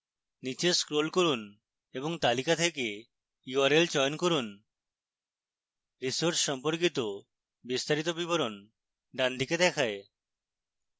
নীচে scroll করুন এবং তালিকা থেকে url চয়ন করুন